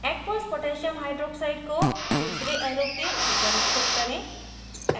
aqueous potassium hydroxide aq koh को दूसरे arrow के ऊपर स्थित करें